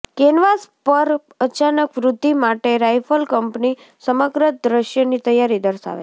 canvas પર અચાનક વૃદ્ધિ માટે રાઈફલ કંપની સમગ્ર દ્રશ્યની તૈયારી દર્શાવે છે